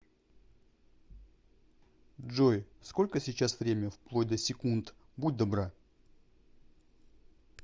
джой сколько сейчас время вплоть до секунд будь добра